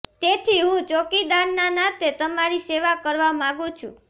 તેથી હું ચોકીદારના નાતે તમારી સેવા કરવા માગુ છું